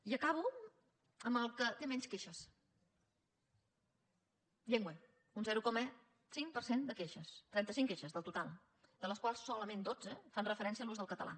i acabo amb el que té menys queixes llengua un zero coma cinc per cent de queixes trenta cinc queixes en total de les quals solament dotze fan referència a l’ús del català